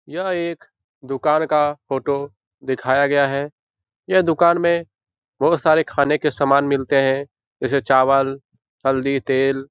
यह एक दुकान का फोटो दिखाया गया है। यह दुकान में बहुत सारे खाने के सामान मिलते हैं जैसे चावल हल्दी तेल।